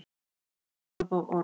Svona orð og orð.